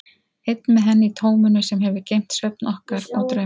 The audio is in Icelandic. Einn með henni í tóminu sem hefur geymt svefn okkar og drauma.